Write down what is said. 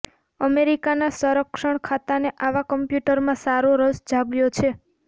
અમેરિકાના સંરક્ષણ ખાતાને આવા કમ્યૂટરમાં સારો રસ જાગ્યો છે